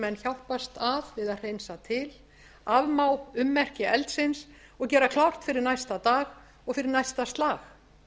hjálpast að við hreinsa til afmá ummerki eldsins og gera klárt fyrir næsta dag og fyrir næsta slag